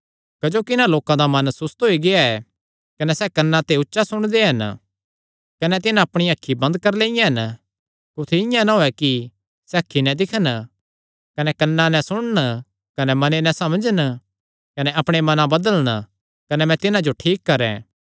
क्जोकि इन्हां लोकां दा मन सुस्त होई गेआ ऐ कने सैह़ कन्नां ते ऊचा सुणदे हन कने तिन्हां अपणिया अखीं बंद करी लियां हन कुत्थी इआं ना होये कि सैह़ अखीं नैं दिक्खन कने कन्नां नैं सुणन कने मने नैं समझन कने अपणे मनां बदलन कने मैं तिन्हां जो ठीक करैं